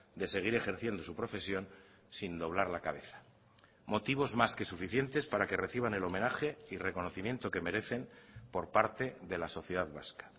de seguir ejerciendo su profesión sin doblar la cabeza motivos más que suficientes para que reciban el homenaje y reconocimiento que merecen por parte de la sociedad vasca